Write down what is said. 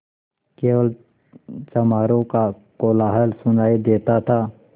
केवल चमारों का कोलाहल सुनायी देता था